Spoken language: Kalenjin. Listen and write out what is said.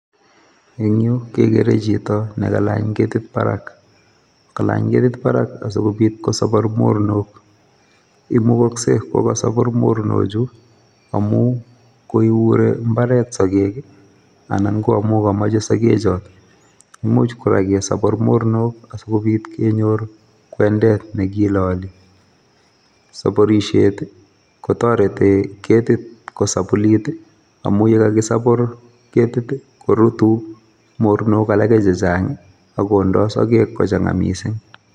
En yuh kegere chito nekalany ketit barak, ak kalany ketit barak asikobiit kosagar mornook. Imukoksei ko kasagaar mornoochu amun kouree mbaret sogeek, anan ko amun komoche sikechob. Imuch kora kosagaar mornok asikobiit kenyoor kwendet nekilolii. sakorisiet kotoretii ketit komugulit, amun ye kakisagar ketit i,korutuu mornook alage chechang, akondoo sogeek kochangaa missing